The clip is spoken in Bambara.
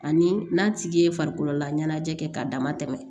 Ani n'a tigi ye farikololaɲɛnajɛ kɛ k'a dama tɛmɛ